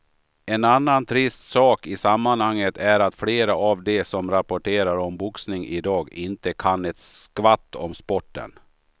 En annan trist sak i sammanhanget är att flera av de som rapporterar om boxning i dag inte kan ett skvatt om sporten.